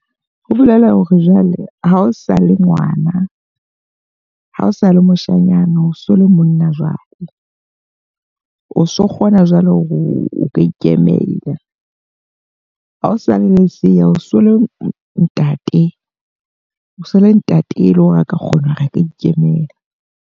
Ho bolela hore jwale ha o sa le ngwana. Ha o sa le moshanyana, o so le monna jwale. O so kgona jwale o ka ikemela. Ha o sale lesea, o so le ntate. O so le ntate e le hore a ka kgona ho re a ka ikemela.